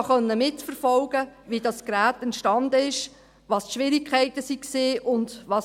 Ich konnte mitverfolgen, wie das Gerät entstand, welches die Schwierigkeiten und die Highlights waren.